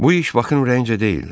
Bu iş Bakın ürəyincə deyildi.